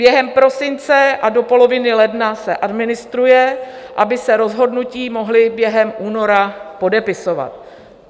Během prosince a do poloviny ledna se administruje, aby se rozhodnutí mohla během února podepisovat.